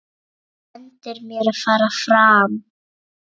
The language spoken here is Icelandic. Bendir mér að fara fram.